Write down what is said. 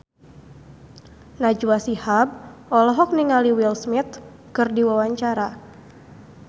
Najwa Shihab olohok ningali Will Smith keur diwawancara